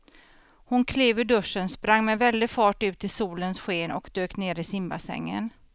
Hon klev ur duschen, sprang med väldig fart ut i solens sken och dök ner i simbassängen.